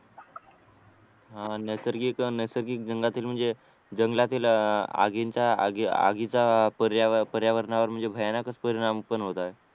हा हा नैसर्गिक नैसर्गिक जंगलातील म्हणजे जंगलातील आगीचा आगीचा पर्यावरणावर म्हणजे भयानक परिणाम पण होत आहे